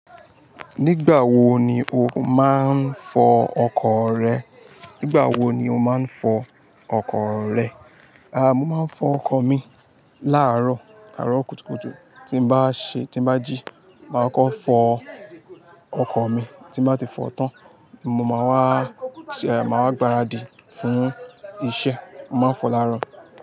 Nígbà wo ni o máa ń fọ ọkọ̀ rẹ? Nígbà wo ni o máa ń fọ ọkọ̀ rẹ? A mo má ń fọ ọkọ̀ mi ní àrọ̀ kùtùkùtù tí mo bá jí mà kọ́kọ́ fọ ọkọ̀ mii tí n bá ti fọ tán, mo máa wá, a, máa wá gbáradì fún iṣẹ́. Mo máa ń fọ láàárọ̀.